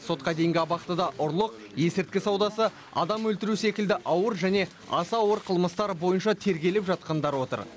сотқа дейінгі абақтыда ұрлық есірткі саудасы адам өлтіру секілді ауыр және аса ауыр қылмыстар бойынша тергеліп жатқандар отыр